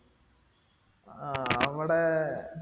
ആഹ് അവിടെ